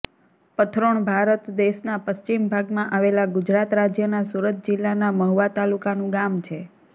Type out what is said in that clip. પથરોણ ભારત દેશના પશ્ચિમ ભાગમાં આવેલા ગુજરાત રાજ્યના સુરત જિલ્લાના મહુવા તાલુકાનું ગામ છે